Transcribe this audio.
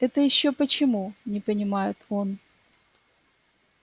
это ещё почему не понимает он